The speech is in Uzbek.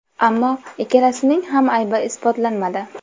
Ammo ikkalasining ham aybi isbotlanmadi.